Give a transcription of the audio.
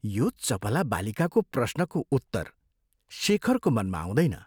यो चपला बालिकाको प्रश्नको उत्तर शेखरको मनमा आउँदैन।